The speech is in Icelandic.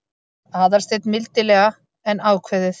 Aðalsteinn mildilega en ákveðið.